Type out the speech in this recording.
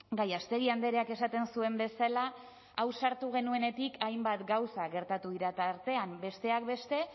gallástegui andreak esaten zuen bezala hau sartu genuenetik hainbat gauza gertatu dira tartean besteak beste